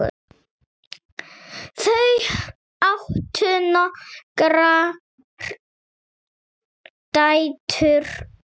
Þau áttu nokkrar dætur.